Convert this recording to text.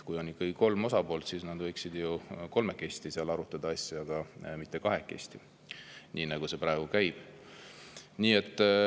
Kui on kolm osapoolt, siis nad võiksid ju ikkagi kolmekesi asju arutada, mitte kahekesi, nii nagu see praegu käib.